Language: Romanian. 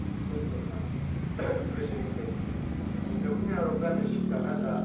Între Uniunea Europeană și Canada există relații cu statut special.